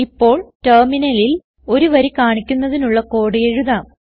ഇപ്പോൾ ടെർമിനലിൽ ഒരു വരി കാണിക്കുന്നതിനുള്ള കോഡ് എഴുതാം